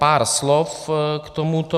Pár slov k tomuto.